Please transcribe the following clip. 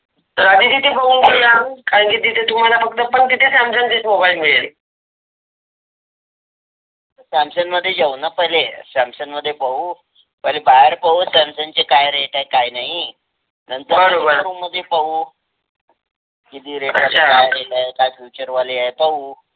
सॅमसंगमध्ये जाऊ ना पहिले Samsung मध्ये पाहू. पहिले बाहेर पाहू Samsung चे काय Rate आहे काय नही. नंतर पाहू किती आहे काय Rate काय Function वाले आहे पाहू.